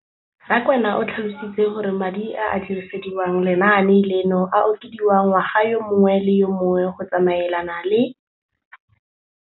Rakwena o tlhalositse gore madi a a dirisediwang lenaane leno a okediwa ngwaga yo mongwe le yo mongwe go tsamaelana le